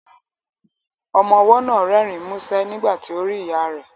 Ọmọ ọwọ́ náà rẹ́rìn músẹ́ nígbà tí ó rí ìyá rẹ̀